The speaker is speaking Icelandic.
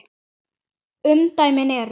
Umdæmin eru